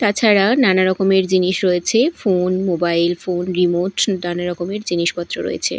তাছাড়া নানারকমের জিনিস রয়েছে ফোন মোবাইল ফোন রিমোট নানারকমের জিনিসপত্র রয়েছে।